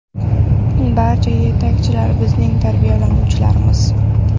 Barcha yetakchilar bizning tarbiyalanuvchilarimiz.